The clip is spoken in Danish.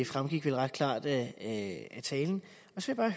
fremgik vel ret klart af talen og så